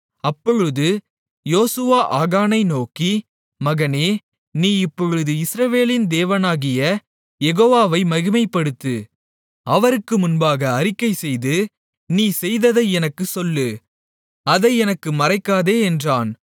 அப்பொழுது யோசுவா ஆகானை நோக்கி மகனே நீ இப்பொழுது இஸ்ரவேலின் தேவனாகிய யெகோவாவை மகிமைப்படுத்து அவருக்கு முன்பாக அறிக்கைசெய்து நீ செய்ததை எனக்குச் சொல்லு அதை எனக்கு மறைக்காதே என்றான்